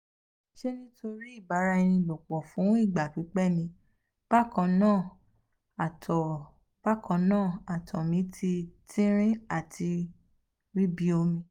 ṣe nitori ibaniaralopo fun igba pipẹ ni? bakanna ato bakanna ato mi ti tinrin ati ri bi omi